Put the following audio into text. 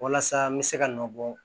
Walasa n bɛ se ka nɔ bɔ